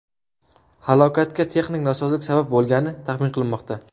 Halokatga texnik nosozlik sabab bo‘lgani taxmin qilinmoqda.